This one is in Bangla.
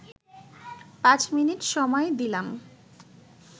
পাঁচ মিনিট সময় দিলাম